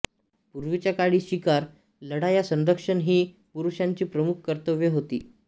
पूर्वीच्या काळी शिकार लढाया संरक्षण ही पुरुषांची प्रमुख कतर्र्व्ये होती